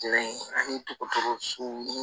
ani togotogo sugu